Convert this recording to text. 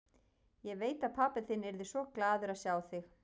Ég veit að pabbi þinn yrði svo glaður að sjá þig.